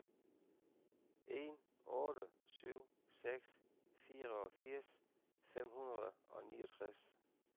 en otte syv seks fireogfirs fem hundrede og niogtres